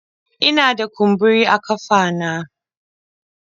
Ina da kumburi a kafa na